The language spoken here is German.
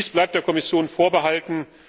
Dies bleibt der Kommission vorbehalten.